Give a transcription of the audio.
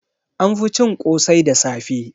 An fi cin ƙosai da safe